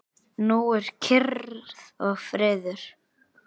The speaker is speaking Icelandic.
Nú er kyrrð og friður.